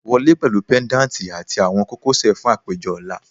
Wọle pẹlu pendanti ati awọn kokosẹ fun apejọ ọla